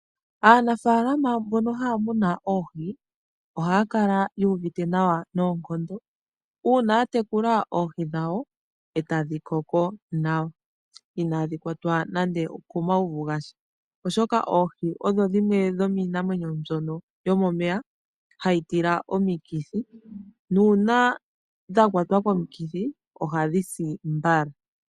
Aanafaalama mbono haa munu oohi, ohaa kala yu uvite nawa noonkondo uuna ya tekula oohi dhawo e tadhi koko nawa, inaadhi kwatwa nande okomauvu gasha, oshoka oohi odho dhimwe dhomiinamwenyo mbyono yomomeya hayi tila omikithi, nuuna dha kwatwa komikithi ohadhi si mbala.